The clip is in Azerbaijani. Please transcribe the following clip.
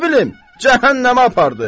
Nə bilim, cəhənnəmə apardı.